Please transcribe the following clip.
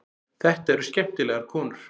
Þetta eru skemmtilegar konur.